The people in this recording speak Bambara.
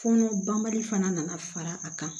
Fɔnɔ banbali fana nana fara a kan